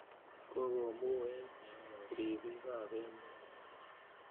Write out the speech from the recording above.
Koko muech ripiik ap emet.